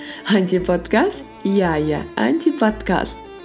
антиподкаст иә иә антиподкаст